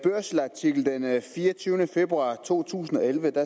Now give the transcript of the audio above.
fireogtyvende februar to tusind og elleve